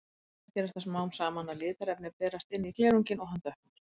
Hins vegar gerist það smám saman að litarefni berast inn í glerunginn og hann dökknar.